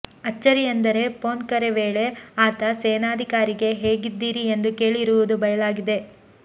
ಅಚ್ಚರಿ ಎಂದರೆ ಫೋನ್ ಕರೆ ವೇಳೆ ಆತ ಸೇನಾಧಿಕಾರಿಗೇ ಹೇಗಿದ್ದೀರಿ ಎಂದು ಕೇಳಿರುವುದು ಬಯಲಾಗಿದೆ